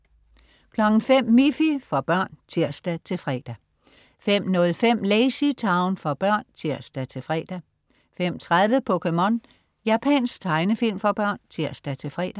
05.00 Miffy. For børn (tirs-fre) 05.05 LazyTown. For børn (tirs-fre) 05.30 POKéMON. Japansk tegnefilm for børn (tirs-fre)